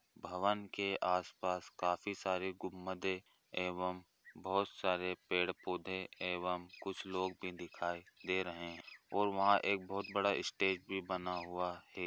भवन के आस पास काफ़ी सारे गुम्बदे एवं बहुत सारे पेड़ पौधे एवं कुछ लोग भी दिखाई दे रहे हैं और वहाँ एक बहुत बड़ा स्टेज भी बना हुआ है।